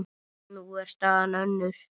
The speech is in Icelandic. Nú er staðan önnur.